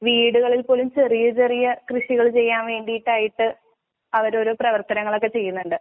വീടുകളിൽപോലും ചെറിയചെറിയ കൃഷികള്ചെയ്യാൻവേണ്ടിട്ടായിട്ട് അവരോരൊ പ്രവർത്തനങ്ങളൊക്കെ ചെയ്യുന്നോണ്ട്.